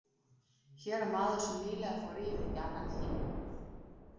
Hér er maður sem nýlega fór yfirí annan heim.